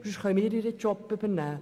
Dann können wir ihren Job übernehmen.